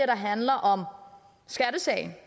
der handler om skattesagen